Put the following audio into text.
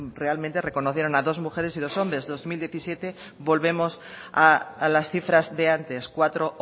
realmente reconocieron a dos mujeres y dos hombres dos mil diecisiete volvemos a las cifras de antes cuatro